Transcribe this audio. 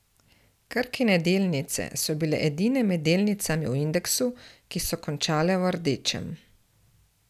Krkine delnice so bile edine med delnicami v indeksu, ki so končale v rdečem.